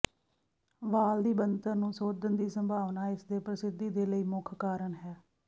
ਵਾਲ ਦੀ ਬਣਤਰ ਨੂੰ ਸੋਧਣ ਦੀ ਸੰਭਾਵਨਾ ਇਸ ਦੇ ਪ੍ਰਸਿੱਧੀ ਦੇ ਲਈ ਮੁੱਖ ਕਾਰਨ ਹੈ